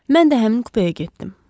Mən də həmin kupeyə getdim.